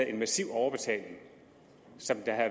en massiv overbetaling som der